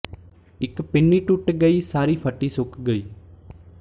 ਇੱਕ ਪਿੰਨੀ ਟੁੱਟ ਗਈ ਸਾਰੀ ਫੱਟੀ ਸੁੱਕ ਗਈ